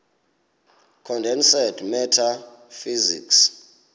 condensed matter physics